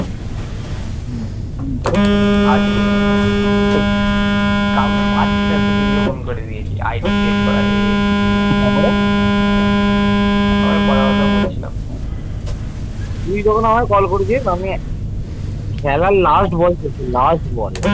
তুই যখন আমায় call করেছিস আমি খেলার last ball খেলছি last ball